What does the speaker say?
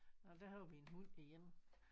Nåh der har vi en hund igen